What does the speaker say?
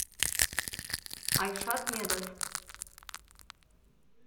айшат медов